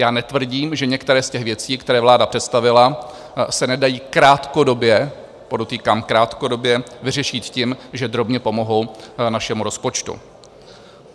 Já netvrdím, že některé z těch věcí, které vláda představila, se nedají krátkodobě - podotýkám krátkodobě - vyřešit tím, že drobně pomohou našemu rozpočtu.